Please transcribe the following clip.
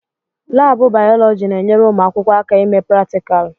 Laabụ bayọlọji na-enyere ụmụ akwụkwọ aka ime pratikalụ.